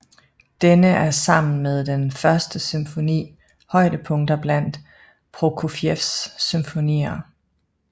Denne er sammen med den første symfoni højdepunkter blandt Prokofjevs symfonier